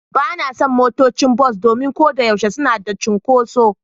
Ba na son motocin bas domin ko da yaushe suna da cunkoso.